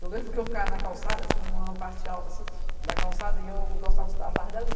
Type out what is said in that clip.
Eu lembro que eu ficava na calçada, tinha uma parte alta assim da calçada e eu gostava da tarde ali.